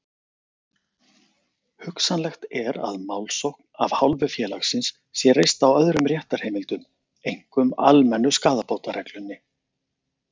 Hugsanlegt er að málsókn af hálfu félagsins sé reist á öðrum réttarheimildum, einkum almennu skaðabótareglunni.